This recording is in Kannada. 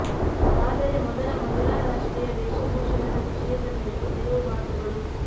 ಆದರೆ ಮೊದಲ ಮಹಿಳಾ ರಾಷ್ಟ್ರೀಯ ವೇಷಭೂಷಣದ ವಿಷಯದ ಮೇಲೆ ಕೆಲವು ಮಾತುಗಳು